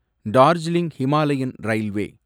Darjeeling Himalayan railway